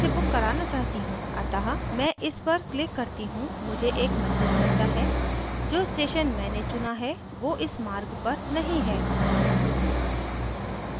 अतः मैं इस पर क्लिक करती हूँ मुझे एक मैसेज मिलता है जो स्टेशन मैंने चुना है वो इस मार्ग पर नहीं है